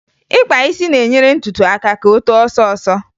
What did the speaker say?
Ịkpa isi na-enyere ntutu aka ka o too ọsọọsọ